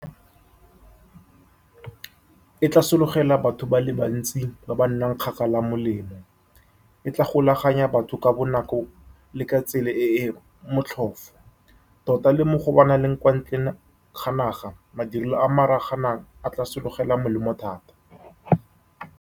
E tla sologela batho ba le bantsi ba ba nnang kgakala molemo. E tla golaganya batho ka bonako le ka tsela e e motlhofu, tota le mo go ba ba nnang kwa ntle ga naga. Madirelo a maragana a tla sologela molemo thata.